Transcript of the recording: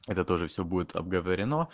это тоже все будет обговорено